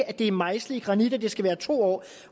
at det er mejslet i granit at det skal være to år